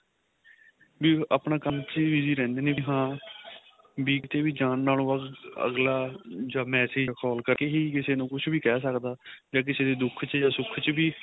B ਆਪਣਾ ਕੰਮ ਚ ਹੀ busy ਰਹਿੰਦੇ ਨੇ ਬੀ ਹਾਂ ਕੀਤੇ ਵੀ ਜਾਣ ਨਾਲੋ ਅਗਲਾ ਜਾਂ massage ਜਾਂ call ਕਰ ਕੇ ਹੀ ਕਿਸੇ ਨੂੰ ਕੁੱਝ ਵੀ ਕਹਿ ਸਕਦਾ ਜਾਂ ਕਿਸੇ ਦੇ ਦੁੱਖ ਚ ਜਾਂ ਸੁੱਖ ਚ ਵੀ